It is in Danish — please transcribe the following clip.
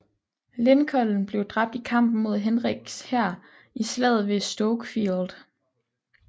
Lincoln blev dræbt i kampen mod Henriks hær i Slaget ved Stoke Field